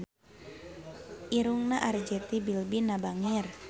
Irungna Arzetti Bilbina bangir